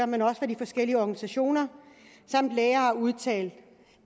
men også hvad de forskellige organisationer samt læger har udtalt